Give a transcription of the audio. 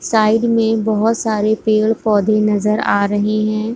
Side में बहुत सारे पेड़ पौधे नजर आ रहे है।